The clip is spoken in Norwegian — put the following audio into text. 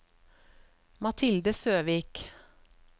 Mathilde Søvik